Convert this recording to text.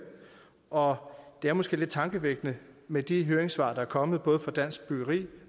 og det er måske lidt tankevækkende med de høringssvar der er kommet både fra dansk byggeri